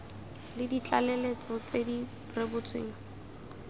le ditlaleletso tse di rebotsweng